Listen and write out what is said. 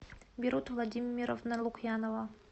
берут владимировна лукьянова